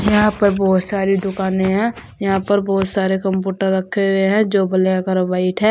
यहां पर बहुत सारी दुकाने है यहां पर बहुत सारे कंप्यूटर रखे हुए हैं जो ब्लैक और व्हाइट है।